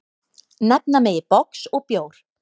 Nefna megi box og bjór.